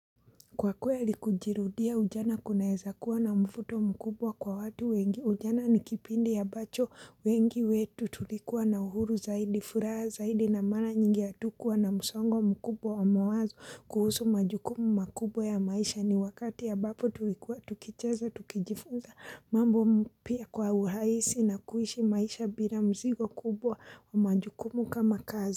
Kwa kweli kujirudia ujana kunaeza kuwa na mvuto mkubwa kwa watu wengi ujana ni kipindi ambacho wengi wetu tulikuwa na uhuru zaidi, furaha zaidi na mara nyingi hatukuwa na msongo mkubwa wa mawazo kuhusu majukumu makubwa ya maisha ni wakati ambapo tulikuwa tukicheza tukijifunza mambo pia kwa uhaisi na kuishi maisha bila mzigo kubwa na majukumu kama kazi.